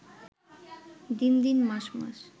দিন দিন, মাস মাস